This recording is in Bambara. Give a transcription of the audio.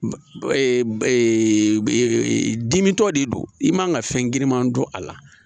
dimitɔ de don i man ka fɛn girinma don a la